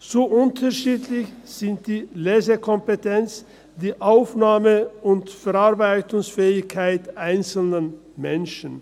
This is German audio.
Zu unterschiedlich sind die Lesekompetenzen, die Aufnahme- und Verarbeitungsfähigkeiten einzelner Menschen.